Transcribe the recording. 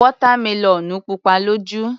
Wọ́tá melọ̀nù pupa lójú.